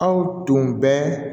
Aw tun bɛ